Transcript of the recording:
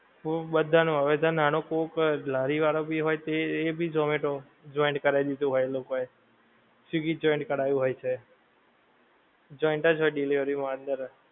ખુબ બધાનું હવે તો નાનો કોક લારી વાળો ભી હોય છે એ ભી ઝોમેટો joint કરાઇ દીધું હોય એ લોકો એ, સ્વીગી joint કરાવ્યું હોય છે. joint જ હોય delivery માં અંદર જ.